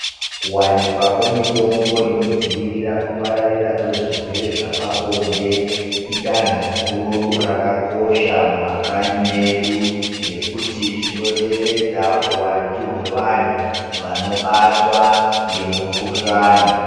Kuwanikwa kwemitombo inodzivirira kupararira kwezwirwere zvapabonde, idanho guru rakakosha mumakanyi medu, nekuti zvinoderedza huhwandu hwevanhu vanobatwa ngemukhuhlani.